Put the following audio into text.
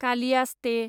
कालियासते